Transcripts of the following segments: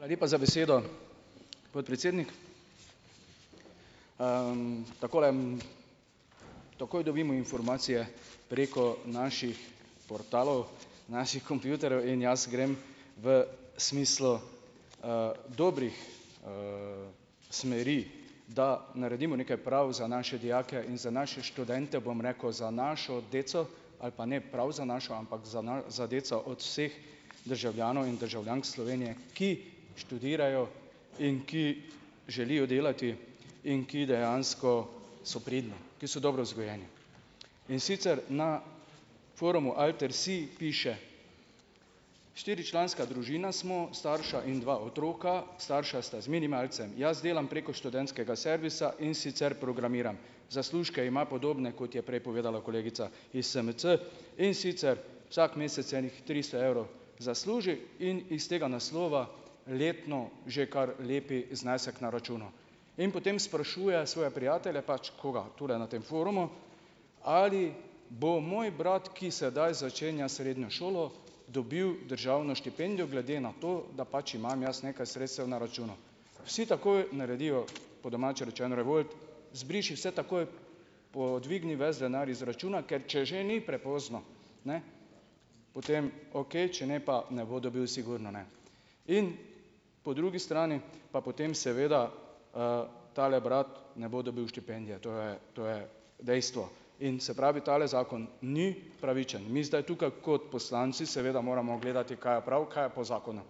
la lepa za besedo, podpredsednik. takole, takoj dobimo informacije preko naših portalov naših kompjuterjev in jaz grem v smislu, dobrih, smeri, da naredimo nekaj prav za naše dijake in za naše študente, bom rekel, za našo deco ali pa ne prav za našo, ampak za za deco od vseh državljanov in državljank Slovenije, ki študirajo in ki želijo delati in ki dejansko so pridni, ki so dobro vzgojeni, in sicer na forumu alter si piše: "Štiričlanska družina smo, starša in dva otroka, starša sta z minimalcem, jaz delam preko študentskega servisa, in sicer programiram." Zaslužke ima podobne, kot je prej povedala kolegica iz SMC, in sicer vsak mesec enih tristo evrov zasluži in iz tega naslova letno že kar lep znesek na računu in potem sprašuje svoje prijatelje, pač koga tule na tem forumu, ali bo moj brat, ki sedaj začenja srednjo šolo, dobil državno štipendijo glede na to, da pač imam jaz nekaj sredstev na računu, vsi takoj naredijo po domače rečeno revolt: "Zbriši vse takoj, pa dvigni ves denar iz računa, ker če že ni prepozno, ne, potem okej, če ne pa ne bo dobil, sigurno ne." In po drugi strani pa potem seveda, tale brat ne bo dobil štipendije, to je, to je dejstvo in se pravi tale zakon ni pravičen, mi zdaj tukaj kot poslanci seveda moramo gledati, kaj je prav, kaj je po zakonu,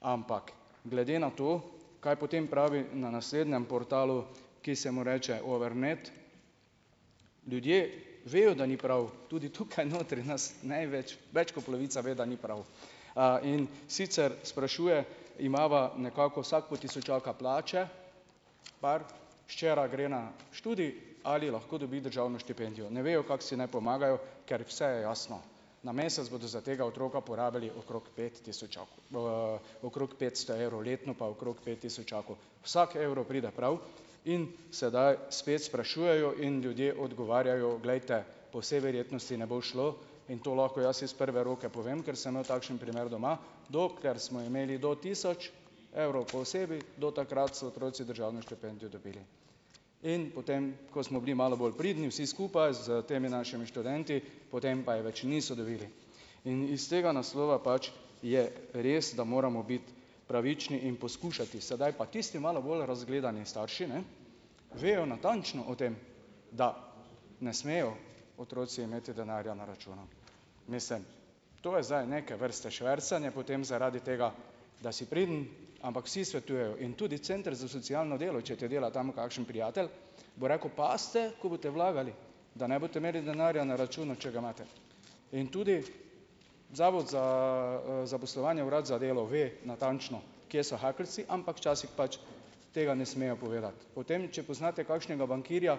ampak glede na to, kaj potem pravi na naslednjem portalu, ki se mu reče Over med, ljudje vejo, da ni prav, tudi tukaj notri nas največ več kot polovica ve, da ni prav, in sicer sprašuje: "Imava nekako vsak po tisočaka plače, par, včeraj gre na študij, ali lahko dobi državno štipendijo?" Ne vejo, kako si naj pomagajo, ker vse je jasno, na mesec bodo za tega otroka porabili okrog pet tisočakov, okrog petsto evrov letno pa okrog pet tisočakov, vsak evro pride prav in sedaj spet sprašujejo in ljudje odgovarjajo. Glejte, po vsej verjetnosti ne bo šlo in to lahko jaz iz prve roke povem, ker sem imel takšen primer doma, dokler smo imeli do tisoč evrov po osebi, do takrat so otroci državno štipendijo dobili, in potem ko smo bili malo bolj pridni vsi skupaj s temi našimi študenti, potem pa je več niso dobili in iz tega naslova pač je res, da moramo biti pravični in poskušati sedaj, pa tisti malo bolj razgledani starši, ne vejo natančno o tem, da ne smejo otroci imeti denarja na računu, mislim, to je zdaj neke vrste švercanje potem zaradi tega, da si priden, ampak vsi svetujejo in tudi center za socialno delo, če ti dela tam kakšen prijatelj, bo rekel: "Pazite, ko boste vlagali, da ne boste imeli denarja na računu, če ga imate." In tudi zavod za zaposlovanje, urad za delo, ve natančno, kje so hakeljci, ampak včasih pač tega ne smejo povedati. Potem če poznate kakšnega bankirja,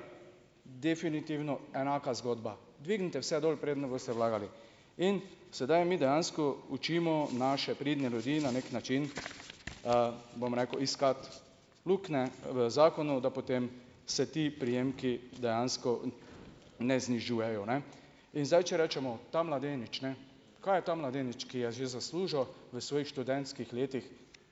definitivno enaka zgodba, dvignite vse dol, preden boste vlagali, in sedaj mi dejansko učimo naše pridne ljudi na neki način, bom rekel, iskati luknje v zakonu, da potem se ti prejemki dejansko ne znižujejo, ne, in zdaj če rečemo, ta mladenič, ne, kaj je ta mladenič, ki je že zaslužil v svojih študentskih letih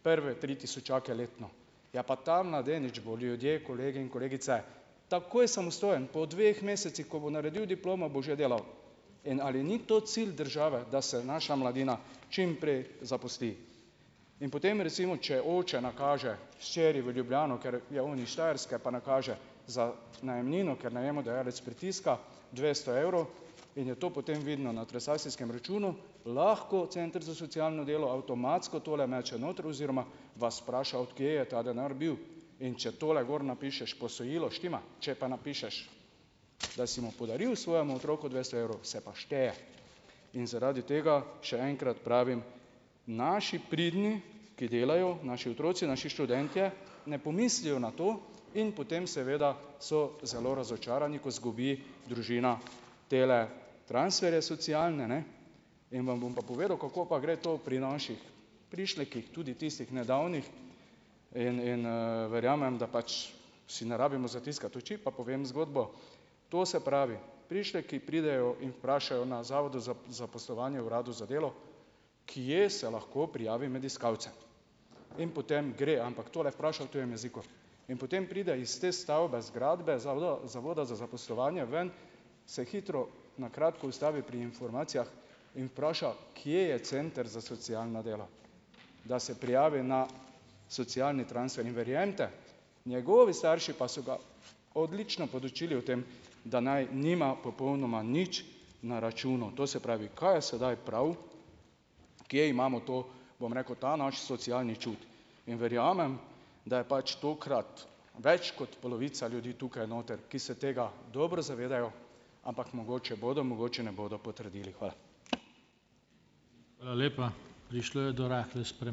prve tri tisočake letno, je pa ta mladenič bo, ljudje, kolegi in kolegice, takoj samostojen po dveh mesecih, ko bo naredil diplomo, bo že delal. In ali ni to cilj države, da se naša mladina čimprej zaposli, in potem recimo, če oče nakaže hčeri v Ljubljano, ker je on iz Štajerske, pa nakaže za najemnino, ker najemodajalec pritiska, dvesto evrov in je to potem vidno na transakcijskem računu, lahko center za socialno delo avtomatsko tole meče noter oziroma vas vpraša, od kje je ta denar bil, in če tole gor napišeš posojilo, štima, če pa napišeš, da si mu podaril svojemu otroku dvesto evrov, se pa šteje, in zaradi tega še enkrat pravim: naši pridni, ki delajo, naši otroci, naši študentje ne pomislijo na to in potem seveda so zelo razočarani, ko izgubi družina tele transferje socialne, ne, in vam bom pa povedal, kako pa gre to pri naših prišlekih, tudi tistih nedavnih, in in, verjamem, da pač si ne rabimo zatiskati oči, pa povem zgodbo, to se pravi, prišleki pridejo in vprašajo na zavodu za zaposlovanje, na uradu za delo: "Kje se lahko prijavim med iskalce?" In potem gre, ampak tole vpraša v tujem jeziku, in potem pride iz te stavbe zgradbe za zavoda za zaposlovanje ven, se hitro na kratko ustavi pri informacijah in vpraša: "Kje je center za socialno delo, da se prijavim na socialni transfer?" In verjemite, njegovi starši pa so ga odlično podučili o tem, da naj nima popolnoma nič na računu, to se pravi, kaj je sedaj prav? Kje imamo to, bom rekel, ta naš socialni čut? In verjamem, da je pač tokrat več kot polovica ljudi tukaj noter, ki se tega dobro zavedajo, ampak mogoče bodo mogoče ne bodo potrdili, hvala.